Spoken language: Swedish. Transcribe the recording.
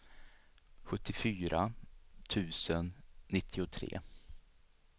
sjuttiofyra tusen nittiotre